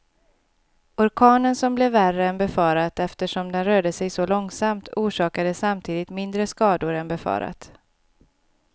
Orkanen som blev värre än befarat eftersom den rörde sig så långsamt, orsakade samtidigt mindre skador än befarat.